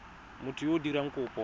motho yo o dirang kopo